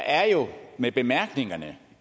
er jo med bemærkningerne